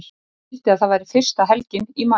Ég vildi að það væri fyrsta helgin í maí.